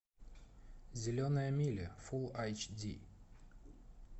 зеленая миля фул айч ди